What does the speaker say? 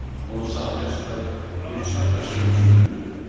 Onu sahilə çıxarıb bir çay daşının üstünə qoydu.